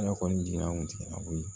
Ala kɔni jiginna anw kun tɛ a bɔ ye